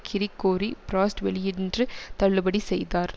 Gregory Frost வெளியன்று தள்ளுபடி செய்தார்